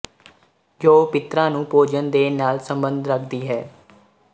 ਜੋ ਪਿਤਰਾਂ ਨੂੰ ਭੋਜਨ ਦੇਣ ਨਾਲ਼ ਸੰਬੰਧ ਰੱਖਦੀ ਹੈ